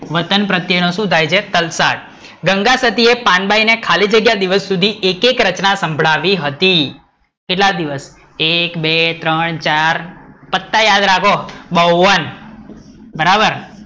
વતન પ્રત્યે નો શું થાય છે? તલસાડ, ગંગાસતી ને પાનબાઈ ને દિવસ સુધી ખાલી જગ્યા એક એક રચના સંભળાયી હતી, કેટલા દિવસ? એક-બે-ત્રણ-ચાર પત્તા યાદ રાખો, બાવન બરાબર